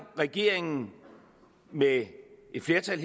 regeringen med et flertal